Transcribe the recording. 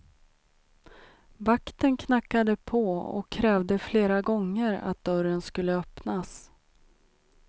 Vakten knackade på och krävde flera gånger att dörren skulle öppnas.